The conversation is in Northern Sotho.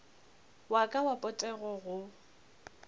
wa ka wa potego go